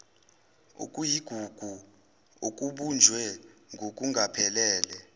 okuyigugu okubunjwe ngokungaphelele